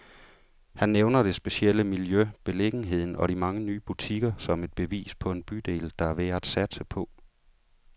Han nævner det specielle miljø, beliggenheden og de mange nye butikker, som et bevis på en bydel, der er værd at satse på.